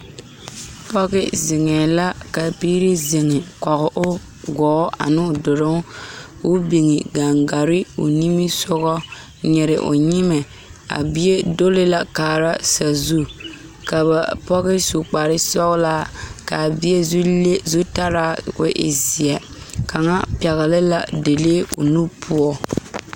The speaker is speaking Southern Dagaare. Pɔge zeŋee la ka biiri zeŋ koge o gɔɔ ane duluŋ ka o biŋ gaŋgare o nimisogɔ nyiri o nyimɛ a bie duli la kaara sazu ka ba pɔge su kpar sɔgelaa kaa bie zu le zutarra ko e zeɛ kaŋa pɛgele la dalee o nu poɔ